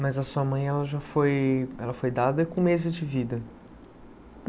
Mas a sua mãe, ela já foi ela foi dada com meses de vida?